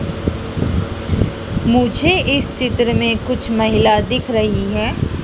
मुझे इस चित्र में कुछ महिला दिख रही है।